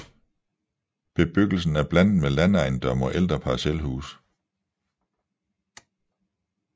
Bebyggelsen er blandet med landejendomme og ældre parcelhuse